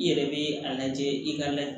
I yɛrɛ be a lajɛ i ka